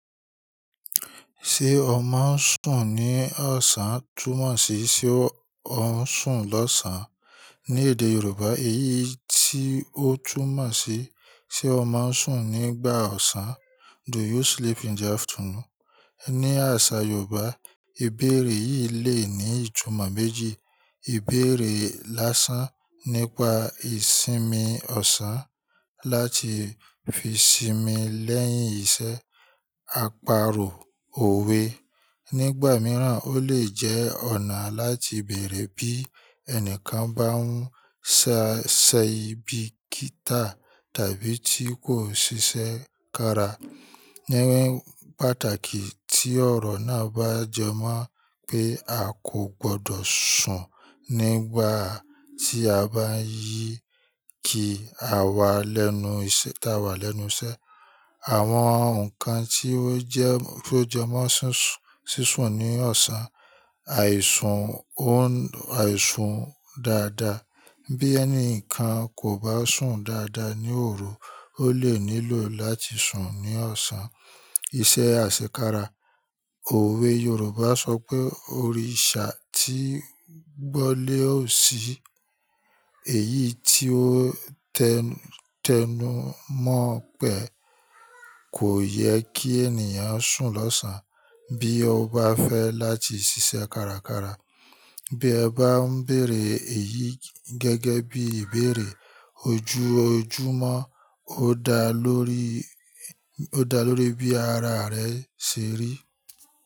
Ṣé o máa ń sùn ní ọ̀sán túmọ̀ sí ṣe ó ń sùn lọ́sàn án. Ní èdè Yorùbá, èyí tí ó túmọ̀ sí ṣe o máa ń sùn nígbà ọ̀sán. Do you sleep in the afternoon? Ní àṣà Yorùbá, ìbéèrè yìí le ní ìtumọ̀ méjì. Ìbéèrè lásán nípa ìsinmi ọ̀sán láti fi sinmi lẹ́yìn iṣẹ́, àparò, òwe. Nígbà mìíràn, ó lè jẹ́ ọ̀nà láti bèèrè bí ẹnìkan bá ń ṣẹ́ aibi kítà tàbí tí kò ń ṣiṣẹ́ kára. Ni pàtàkì tí ọ̀rọ̀ náà bá jẹ mọ́ pé a kò gbọdọ̀ sùn nígbà tí o bá ye ki a wà lẹ́nu iṣẹ́ tá a wà lẹ́nu iṣẹ́. Àwọn nǹkan tí ó jẹ mọ́ ṣíṣùn ní ọ̀sán. Àìsùn òun, àìsùn dáadáa. Bí ẹni kan kò bá sùn dáadáa ní òru, ó lè nílò láti sùn ní ọ̀sán. Iṣẹ́ àṣekára. Òwe Yorùbá sọ pé "Òrìṣà tí gbọ́ lé ò sí." Èyí tí ó tẹnu mọ́ pe kò yẹ kí ènìyàn sùn lọ́sán. Bí o bá fẹ́ láti ṣiṣẹ́ kárakára, bí ẹ bá ń bèèrè èyí gẹ́gẹ́ bí ìbéèrè ojú ojúmọ́, ó da lórí, ó da lórí bí ara rẹ ṣe rí.